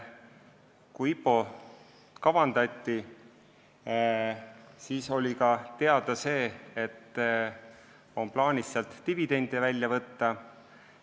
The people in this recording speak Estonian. Kui IPO-t kavandati, siis oli ka teada, et sealt on plaanis dividende välja võtta.